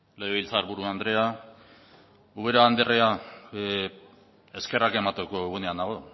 legebiltzarburu andrea ubera andrea eskerrak emateko egunean nago